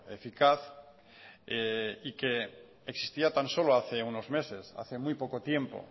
eficaz y que existía tan solo hace unos meses hace muy poco tiempo